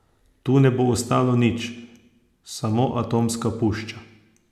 Tu ne bo ostalo nič, samo atomska pušča.